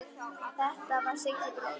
Þetta var Siggi bróðir.